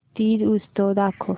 तीज उत्सव दाखव